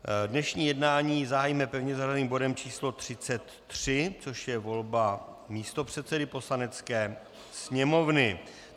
Dnešní jednání zahájíme pevně zařazeným bodem číslo 33, což je volba místopředsedy Poslanecké sněmovny.